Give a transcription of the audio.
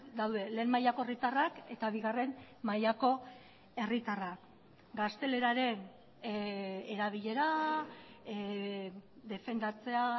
daude lehen mailako herritarrak eta bigarren mailako herritarrak gazteleraren erabilera defendatzea